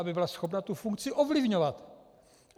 Aby byla schopna tu funkci ovlivňovat.